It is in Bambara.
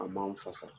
A m'an fasa